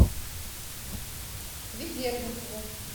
ведерникову